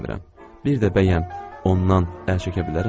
Bir də bəyəm ondan əl çəkə bilərəmmi?